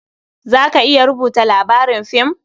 Za ka iya rubuta labarin fim?